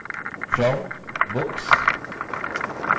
from books